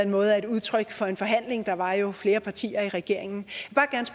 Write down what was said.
måde er et udtryk for en forhandling der var jo flere partier i regeringen